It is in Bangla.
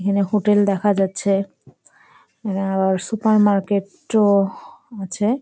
এইখানে হোটেল দেখা যাচ্ছে আর সুপার মার্কেট -ও আছে ।